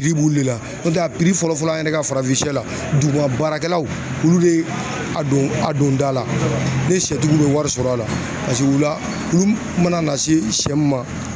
b'u le la n'o tɛ a fɔlɔ fɔlɔ an yɛrɛ ka farafin sɛ la duguba baarakɛlaw olu be a don a don da la ni sɛtigiw bɛ wari sɔrɔ a la olu mana na se sɛ mun ma